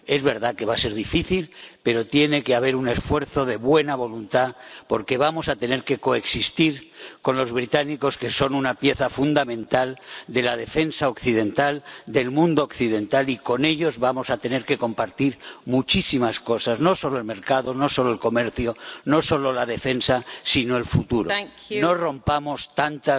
Es verdad que va a ser difícil, pero tiene que haber un esfuerzo de buena voluntad, porque vamos a tener que coexistir con los británicos, que son una pieza fundamental de la defensa occidental, del mundo occidental, y con ellos vamos a tener que compartir muchísimas cosas, no solo el mercado, no solo el comercio, no solo la defensa, sino el futuro. No rompamos tantas